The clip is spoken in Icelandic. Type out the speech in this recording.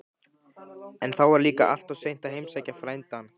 En þá var líka alltof seint að heimsækja frændann.